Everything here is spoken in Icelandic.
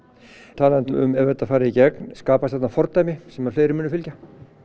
talandi um ef þetta fari í gegn skapast þarna fordæmi sem fleiri muni fylgja